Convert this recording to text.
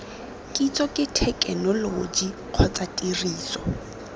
kitso ke thekenoloji kgotsa tiriso